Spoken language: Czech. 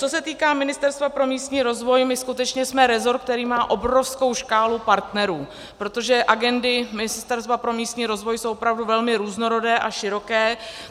Co se týká Ministerstva pro místní rozvoj, my skutečně jsme rezort, který má obrovskou škálu partnerů, protože agendy Ministerstva pro místní rozvoj jsou opravdu velmi různorodé a široké.